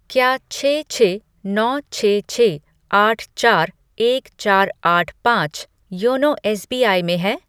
क्या छः छः नौ छः छः आठ चार एक चार आठ पाँच योनो एस बी आई में है?